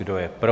Kdo je pro?